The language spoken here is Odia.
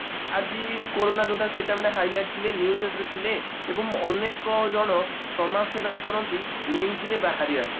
ଆଜି କୋରୋନା ଯୋଦ୍ଧା ମାନେ ଆଜି କୋରୋନା ଯୋଦ୍ଧା ସେଇଟା ମାନେ highlight news ରେ ଥିଲେ ଏବଂ ଅନେକ ଜଣ ସମାଜ ସେବା କରନ୍ତି news ରେ ବାହାରିବା ପାଇଁ